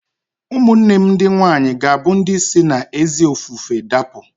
Ụmụnne m ndị nwaanyị ga-abụ ndị si n'ezi ofufe dapụ